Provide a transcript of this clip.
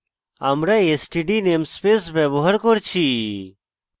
আমরা std namespace ব্যবহার করছি